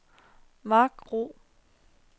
makro